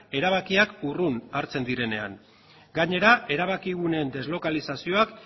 erabakiak urrun hartzen direnean gainera erabakiguneen deslokalizazioak